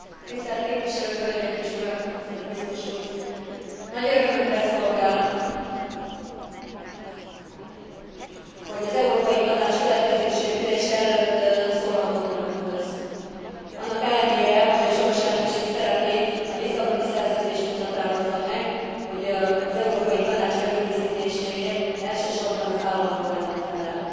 Tisztelt képviselő hölgyek és urak, tisztelt biztos úr! Nagy örömömre szolgál, hogy az Európai Tanács következő ülése előtt szólhatok önökhöz, annak ellenére, hogy a soros elnökség szerepét a Lisszaboni Szerződés úgy határozza meg, hogy az Európai Tanács előkészítéséért elsősorban az állandó elnök felel.